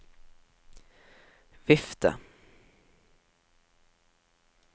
vifte